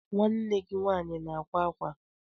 Nwanne gi nwanyi na akwa akwa?